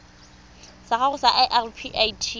sa gago sa irp it